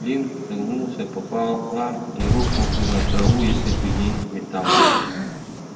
флинт согнулся пополам и рухнул бы на траву если бы не металл